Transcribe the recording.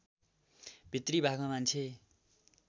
भित्री भागमा मान्छे